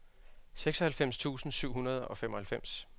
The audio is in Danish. seksoghalvfems tusind syv hundrede og femoghalvfems